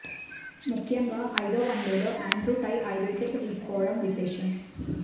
ముఖ్యంగా ఐదో వన్డేలో ఆండ్రూ టై ఐదు వికెట్లు తీసుకోవడం విశేషం